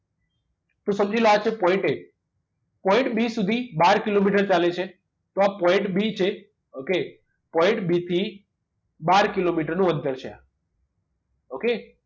તો સમજી લો આ છે point a point b સુધી બાર કિલોમીટર ચાલે છે તો આ point b છે ok point b થીબાર કિલોમીટર નું અંતર છે આ ok